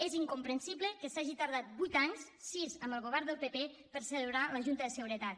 és incomprensible que s’hagi tardat vuit anys sis amb el govern del pp per celebrar la junta de seguretat